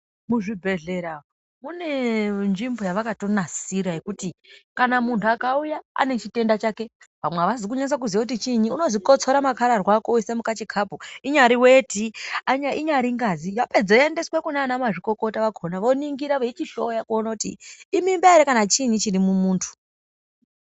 Mu zvibhedhlera mune nzvimbo yavakato nasira yekuti kana muntu akauya ane chitenda chake vamwe avazi kunasa kuziya kuti chiinyi unozi kotsora makarahwa ako uise mukachi kapu inyari weti inyari ngazi vapedza yo endeswe kunana mazvikokota vakona vo ningira veichi hloya kuona kuti imimba ere kana kuti chiinyi chiri mu muntu.